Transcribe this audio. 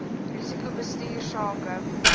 risiko bestuur sake